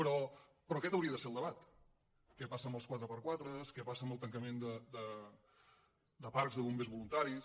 però aquest hauria de ser el debat què passa amb els 4x4 què passa amb el tancament de parcs de bombers voluntaris